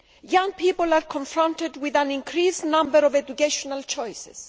Young people are confronted with an increased number of educational choices.